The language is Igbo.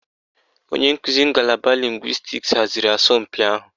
Onye nkuzi ngalaba lịngwịstis haziri asọmpi ahụ.